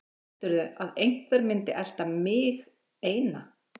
Heldurðu að einhver myndi elta MIG eina?